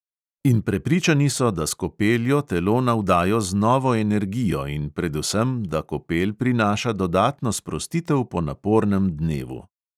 In prepričani so, da s kopeljo telo navdajo z novo energijo in predvsem da kopel prinaša dodatno sprostitev po napornem dnevu.